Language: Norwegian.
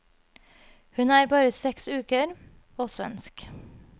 Hun er bare seks uker, og svensk.